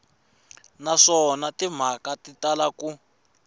naswona timhaka ti tala ku